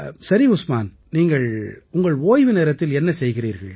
சரி உஸ்மான் உங்கள் ஓய்வு நேரத்தில் நீங்கள் என்ன செய்கிறீர்கள்